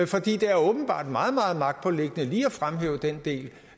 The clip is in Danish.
fordi det åbenbart er meget meget magtpåliggende lige at fremhæve den del